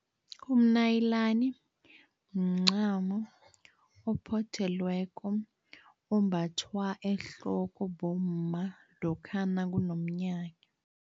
Umnayilani mncamo ophothelweko, ombathwa ehloko bomma lokha nakunomnyanya.